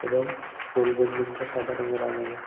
এবং স্কুল বিল্ডিংটা সাদা রঙে রাঙানো।